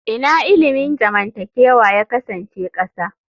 Ina ilimin zamantakewa ya kasance ƙasa?